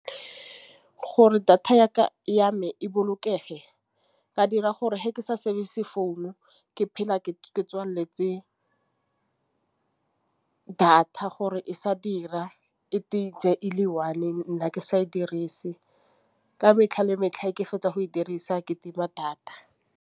Gore data ya me e bolokege ka dira gore he ke sa sefe se phone ke phela ke tswaletse data gore e sa dira e ne e le one e nna ke sa e dirise. Ka metlha le metlha e ke fetsa go e dirisa ketekima data.?????